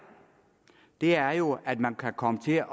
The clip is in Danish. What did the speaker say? er er jo at man kan komme til at